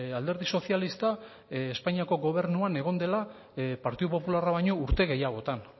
alderdi sozialista espainiako gobernuan egon dela partidu popularra baino urte gehiagotan